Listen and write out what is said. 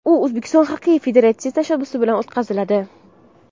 U O‘zbekiston Xokkey federatsiyasi tashabbusi bilan o‘tkaziladi.